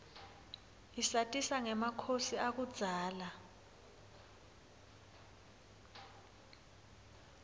isatisa ngemakhosi akudzala